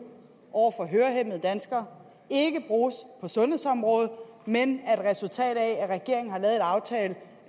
over for hørehæmmede danskere ikke bruges på sundhedsområdet men er et resultat af at regeringen har lavet en aftale